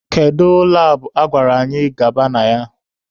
Kedu labụ a gwara anyị gaba na ya?